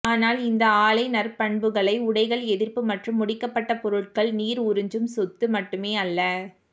ஆனால் இந்த ஆலை நற்பண்புகளைப் உடைகள் எதிர்ப்பு மற்றும் முடிக்கப்பட்ட பொருட்கள் நீர் உறிஞ்சும் சொத்து மட்டுமே அல்ல